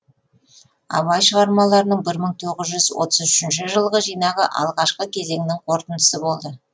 абай шығармаларының бір мың тоғыз жүз отыз үшінші жылғы жинағы алғашқы кезеңнің қорытындысы болды